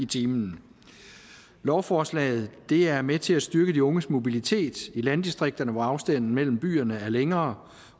time lovforslaget er med til at styrke de unges mobilitet i landdistrikterne hvor afstanden mellem byerne er længere